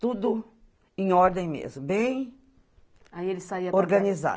Tudo em ordem mesmo, aí ele saía, bem organizado.